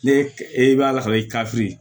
Ne e b'a la sɔrɔ i ka firi